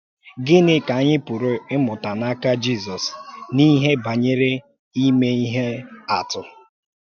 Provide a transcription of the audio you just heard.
Gịnị ka anyị pụrụ ịmụta n’aka Jízọs n’ihe banyere ime ihe atụ?